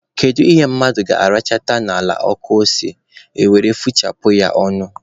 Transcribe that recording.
Kedu ihe mmadụ ga-arachata n'ala ọkụ ose, e were fụchapụ ya ọnụ?